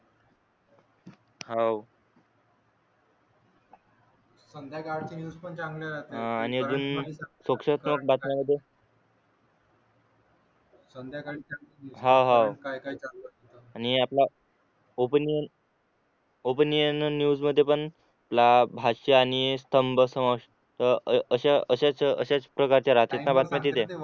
opening न्यूजमध्ये पण लाख भाषा आणि स्तंभ समश अ अ अशा अशाच अशाच प्रकारच्या राहतात बातम्या तिथे